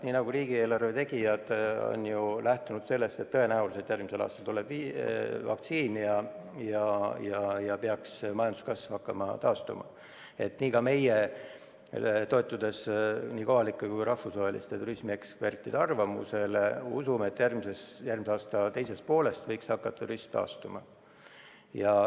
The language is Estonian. Nii nagu riigieelarve tegijad on lähtunud sellest, et tõenäoliselt järgmisel aastal tuleb vaktsiin ja majanduskasv hakkab taastuma, nii ka meie, toetudes kohalike ja rahvusvaheliste turismiekspertide arvamusele, usume, et järgmise aasta teises pooles võiks turism hakata taastuma.